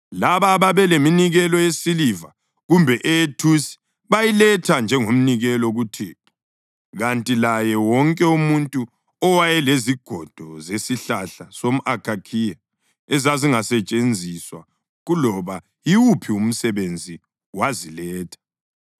Labo ababeleminikelo yesiliva kumbe eyethusi bayiletha njengomnikelo kuThixo, kanti laye wonke umuntu owayelezigodo zesihlahla somʼakhakhiya ezazingasetshenziswa kuloba yiwuphi umsebenzi, waziletha.